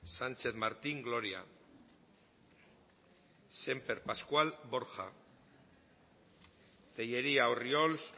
sánchez martín gloria semper pascual borja tellería orriols